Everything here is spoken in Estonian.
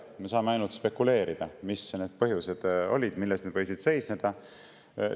Me saame ainult spekuleerida, mis olid need põhjused, milles see võis seisneda.